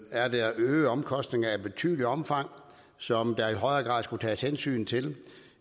er der øgede omkostninger i betydeligt omfang som der i højere grad skal tages hensyn til